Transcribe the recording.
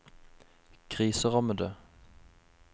kriserammede